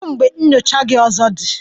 Kedu mgbe nyocha gị ọzọ dị?